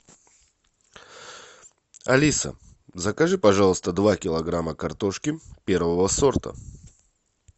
алиса закажи пожалуйста два килограмма картошки первого сорта